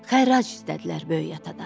Xərac istədilər böyük atadan.